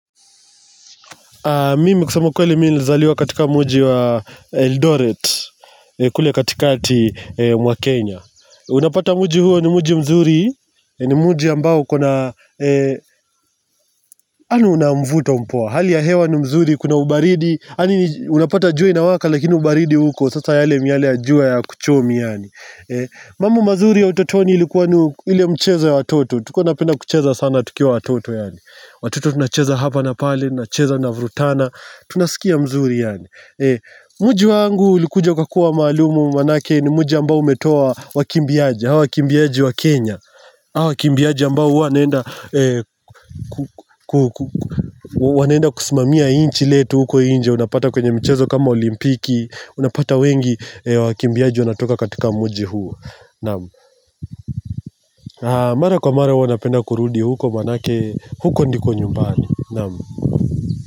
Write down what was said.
Mimi kusema ukweli mimi nilizaliwa katika mji wa Eldoret, kule katikati mwa Kenya Unapata mji huo ni mji mzuri, ni mji ambao ukona, anu namvuto mpoa. Hali ya hewa ni mzuri, kuna ubaridi, yaani unapata jua inawaka lakini ubaridi uko Sasa yale miale ya jua haya kuchomi yaani. Mambo mazuri ya utotoni ilikuwa ni ile mcheza ya watoto, tulikuwa tunapenda kucheza sana tukiwa watoto yaani, watoto tunacheza hapa na pale, tunacheza tunavurutana tunasikia mzuri yaani. Mji wangu ulikuja ukakua maalumu maanake ni mji ambao umetoa wakimbiaji, hawa wakimbiaji wa Kenya. Hawa wakimbiaje ambao wanaenda kusimamia inchi letu huko inje unapata kwenye michezo kama olimpiki Unapata wengi wakimbiaji wanatoka katika mji huo. Mara kwa mara huwa napenda kurudi huko maanake, huko ndiko nyumbani, Naam: